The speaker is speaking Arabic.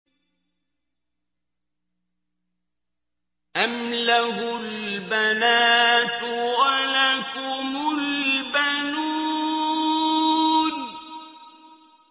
أَمْ لَهُ الْبَنَاتُ وَلَكُمُ الْبَنُونَ